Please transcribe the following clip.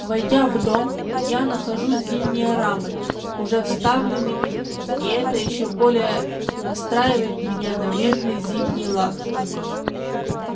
войдя в дом я нахожу зимние рамы уже вставленными и это ещё более настраивает меня на мирный зимний лад